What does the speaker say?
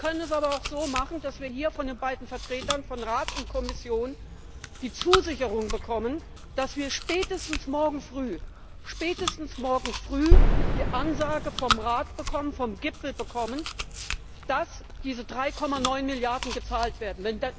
Wir können es aber auch so machen, dass wir hier von den beiden Vertretern von Rat und Kommission die Zusicherung bekommen, dass wir spätestens morgen früh die Ansage vom Rat, vom Gipfel, bekommen, dass diese 3,9 Milliarden gezahlt werden.